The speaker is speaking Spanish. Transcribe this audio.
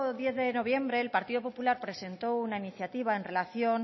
diez de noviembre el partido popular presentó una iniciativa en relación